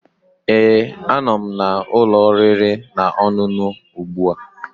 Ee, anọ m na ụlọ oriri na ọṅụṅụ ugbu a